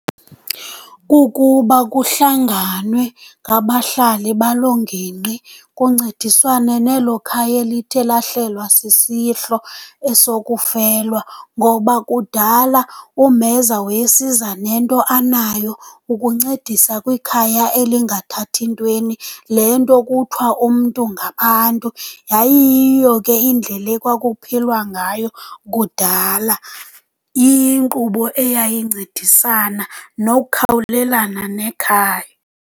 Kukuba kuhlanganwe ngabahlali baloo ngingqi kuncediswane nelo khaya elithe lahlelwa sisihlo esokufelwa, ngoba kudala umheza wayesiza nento anayo ukuncedisa kwikhaya elingathathi ntweni. Le nto kuthiwa umntu ngabantu yayiyiyo ke indlela ekwakuphilwa ngayo kudala, iyinkqubo eyayincedisana nokukhawulelana nekhaya.